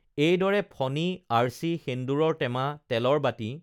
এইদৰে ফণী আৰ্চি সেন্দূৰৰ টেমা তেলৰ বাটি